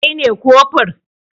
Kai ne kofur?